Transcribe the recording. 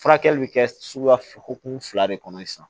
Furakɛli bɛ kɛ suguya hukumu fila de kɔnɔ sisan